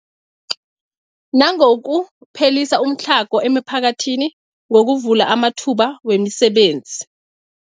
Nangokuphelisa umtlhago emiphakathini ngokuvula amathuba wemisebenzi.